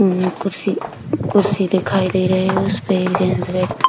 अम कुर्सी कुर्सी दिखाई दे रहे हैं उसपे एक जन बै --